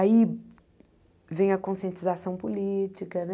Aí vem a conscientização política, né?